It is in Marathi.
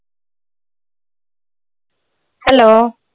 hello